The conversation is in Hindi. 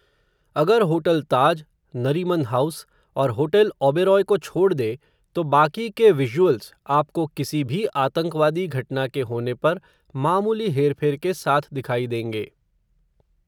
अगर होटल ताज, नरीमन हाउस, और होटल ऑबरोय को छोड़ दे, तो बाकी के विज़ुअल्स, आपको किसी भी आतंकवादी घटना के होने पर, मामूली हेर फेर के साथ दिखायी देंगे